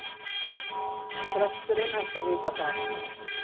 Presturinn ætti að vita það.